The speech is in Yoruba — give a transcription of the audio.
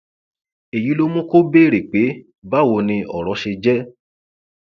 èyí ló mú kó béèrè pé báwo ni ọrọ ṣe jẹ